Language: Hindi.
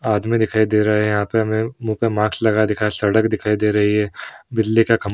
आदमी दिखाई दे रहे हैं। यहाँ पे हमें मुँह पर मास्क लगा दिखा सड़क दिखाई दे रही है। बिजली का खंब --